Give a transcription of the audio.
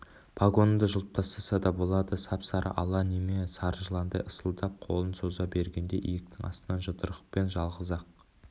погоныңды жұлып тастаса да болады деп сап-сары ала неме сары жыландай ысылдап қолын соза бергенде иектің астынан жұдырықпен жалғыз-ақ